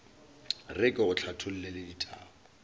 re ke go hlathollele ditaba